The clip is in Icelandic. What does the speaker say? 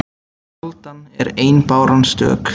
Aldan er ein báran stök